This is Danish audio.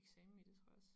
Eksamen i det tror jeg også